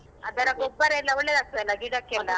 ಅದರ ಗೊಬ್ಬರ ಎಲ್ಲ ಒಳ್ಳೇದಾಗ್ತದಲ್ಲ ಗಿಡಕ್ಕೆಲ್ಲ.